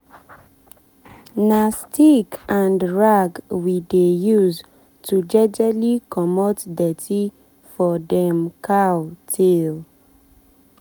na stick and rag we dey use to jejely comot dirty for dem cow tail.